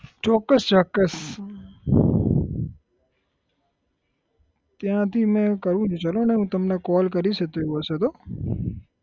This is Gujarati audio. ચોક્કસ ચોક્કસ ત્યાંથી મે કહ્યું છે ચાલો ને હું તમને call કરીસ એતો એવું હશે તો